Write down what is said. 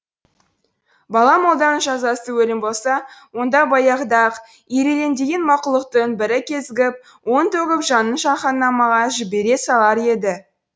бала молданың жазасы өлім болса онда баяғыда ақ ирелеңдеген мақұлықтың бірі кезігіп уын төгіп жанын жаһаннамға жібере салар еді